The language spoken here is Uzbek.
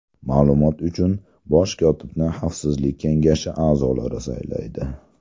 Ma’lumot uchun, bosh kotibni Xavfsizlik kengashi a’zolari saylaydi.